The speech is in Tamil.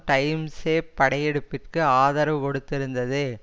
டைம்ஸே படையெடுப்பிற்கு ஆதரவு கொடுத்திருந்தது